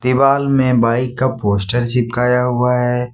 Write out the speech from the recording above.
दीवाल में बाइक का पोस्टर चिपकाया हुआ है।